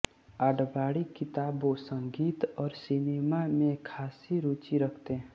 आडवाणी किताबों संगीत और सिनेमा में ख़ासी रुचि रखते हैं